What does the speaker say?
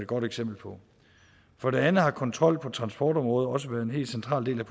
godt eksempel på for det andet har kontrol på transportområdet også været en helt central del af